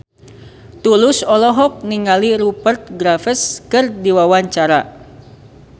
Tulus olohok ningali Rupert Graves keur diwawancara